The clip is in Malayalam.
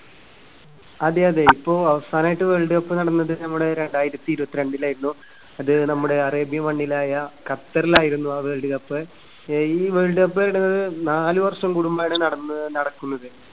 അതെയതെ. ഇപ്പോ അവസാനമായിട്ട് വേൾഡ് കപ്പ് നടന്നത് നമ്മുടെ രണ്ടായിരത്തി ഇരുപത്തിരണ്ടിലായിരുന്നു. അത് നമ്മുടെ arabian മണ്ണിലായ ഖത്തറിലായിരുന്നു ആ വേൾഡ് കപ്പ്. ഏ ഈ വേൾഡ് കപ്പ് നടന്നത് നാല് വർഷം കൂടുമ്പഴാണ് നടന്നത്. നടക്കുന്നത്.